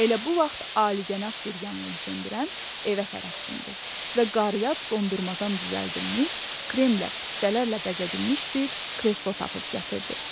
Elə bu vaxt alicənab bir yanğınsöndürən evə tərəf cumdu və qarıya dondurmadan düzəldilmiş, kremlə, püstələrlə bəzədilmiş bir kreslo tapıb gətirdi.